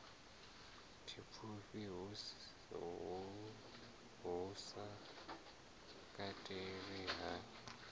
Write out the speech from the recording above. tshipfufhi hu sa katelwi ha